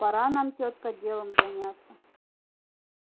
пора нам тётка делом заняться